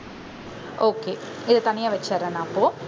okay இதை தனியா வச்சிடுறேன் நான் அப்போ